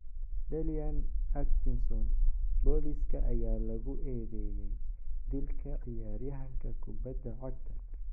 Dalian Atkinson: Booliska ayaa lagu eedeeyay dilka ciyaaryahanka kubadda cagta.